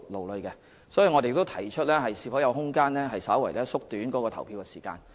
有鑒於此，我們曾建議探討是否有空間稍為縮短投票時間。